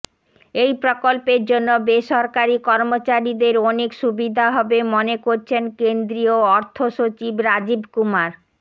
এই প্রকল্পের জন্য বেসরকারী কর্মচারীদের অনেক সুবিধা হবে মনে করছেন কেন্দ্রীয় অর্থ সচিব রাজীব কুমার